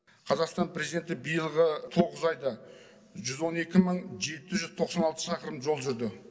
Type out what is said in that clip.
қазақстан президенті биылғы тоғыз айда жүз он екі мың жеті жүз тоқсан алты шақырым жол жүрді